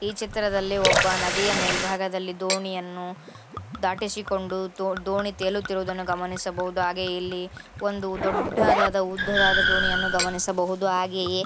ಈ ಚಿತ್ರದಲ್ಲಿ ಒಬ್ಬ ನದಿಯ ಮೇಲ್ಭಾಗದಲ್ಲಿ ದೋಣಿಯನ್ನು ದಾಟಿಸಿಕೊಂಡು ದೋ ದೋಣಿ ತೇಲುತ್ತಿರುವುದನ್ನು ಗಮನಿಸಬಹುದು ಹಾಗೂ ಇಲ್ಲಿ ಒಂದು ದೊಡ್ಡದಾದ ಉದ್ದವಾದ ದೋಣಿಯನ್ನು ಗಮನಿಸಬಹುದು ಹಾಗೆಯೇ --